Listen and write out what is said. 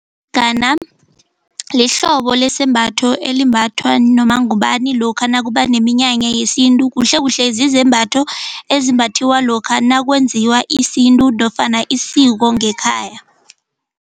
Lihlobo lesembatho elimbathwa noma ngubani lokha nakuba neminyanya yesintu kuhlekuhle zizembatho ezimbathiwa lokha nakwenziwa isintu nofana isiko ngekhaya.